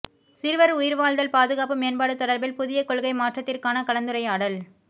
சிறுவர் உயிர்வாழ்தல் பாதுகாப்பு மேம்பாடு தொடர்பில் புதிய கொள்கை மாற்றத்திற்கான கலந்துரையாடல்